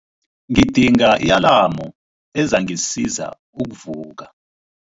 Ngidinga i-alamu ezangisiza ukuvuka.